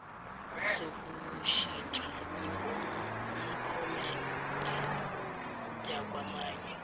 sokushintsha iphomede yakwamanye